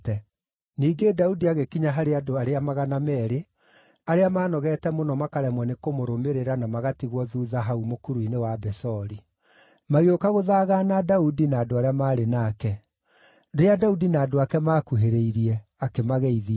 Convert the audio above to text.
Ningĩ Daudi agĩkinya harĩ andũ arĩa magana meerĩ arĩa maanogete mũno makaremwo nĩ kũmũrũmĩrĩra na magatigwo thuutha hau mũkuru-inĩ wa Besori. Magĩũka gũthagaana Daudi na andũ arĩa maarĩ nake. Rĩrĩa Daudi na andũ ake maakuhĩrĩirie, akĩmageithia.